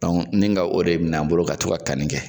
ni ka o de min'an bolo ka to ka kanni kɛ.